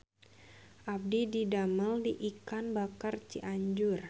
Abdi didamel di Ikan Bakar Cianjur